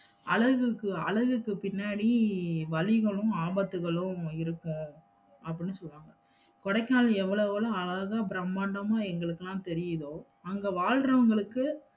அழகுக்கு, அழகுக்கு பின்னாடி வலிகளும், ஆபத்துகளும் இருக்கும் அப்படின்னு சொல்லுவாங்க. கொடைக்கானல் எவ்வளவு அழகா பிரம்மாண்டமா எங்களுக்கெல்லாம் தெரியுதோ அங்க வாழ்றவுங்களுக்கு